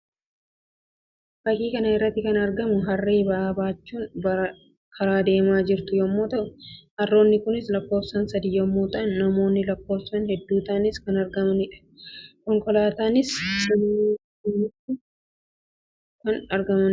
Fakkii kana irratti kan argamu Harree ba'aa baachuun karaa deemaa jirtu yammuu ta'u; Harroonni kunis lakkoofsaan sadii yammuu ta'an namoonni lakkoofsaan hedduu ta'anis kan argamaniidha. konkolaataanis cina isaaniitti kan argamuu dha.